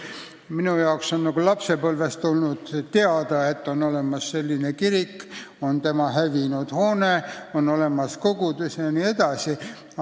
Mina tean lapsepõlvest peale, et on olemas selline kirik, et tema hoone on kannatada saanud, et on olemas kogudus jne.